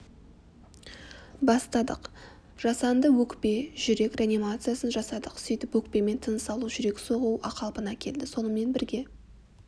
бастадық жасанды өкпе-жүрек реанимациясын жасадық сөйтіп өкпемен тыныс алуы жүрек соғуы қалпына келді сонымен бірге